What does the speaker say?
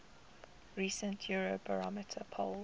recent eurobarometer poll